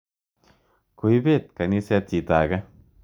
Koipet kaniset chito ake.